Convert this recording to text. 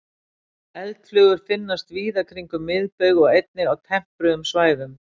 eldflugur finnast víða kringum miðbaug og einnig á tempruðum svæðum